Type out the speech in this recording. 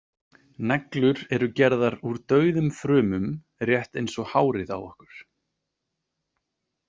Neglur eru gerðar úr dauðum frumum rétt eins og hárið á okkur.